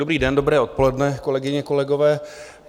Dobrý den, dobré odpoledne, kolegyně, kolegové.